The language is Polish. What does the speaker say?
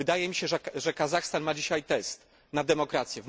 Wydaje mi się, że Kazachstan ma dzisiaj test na demokrację.